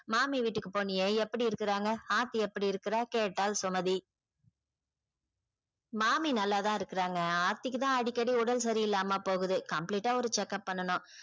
மாமி வீட்டுக்கு போனியே எப்படி இருக்குறாங்க ஆர்த்தி எப்படி இருக்குறா கேட்டாள் சுமதி மாமி நல்லா தான் இருக்குறாங்க ஆர்த்திக்கு தான் அடிக்கடி உடல் சரியில்லாம போகுது complete ஆ ஒரு check up பண்ணனும்.